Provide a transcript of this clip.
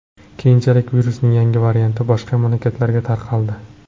Keyinchalik virusning yangi varianti boshqa mamlakatlarga tarqaldi .